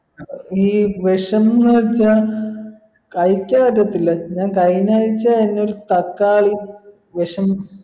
ഈ വിഷംന്ന് വെച്ചാ കഴിക്കാൻ പറ്റത്തില്ല ഞാൻ കഴിഞ്ഞാഴ്ച എന്നെ ഒരു തക്കാളി വിഷം